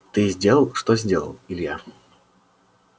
ты сделал что сделал илья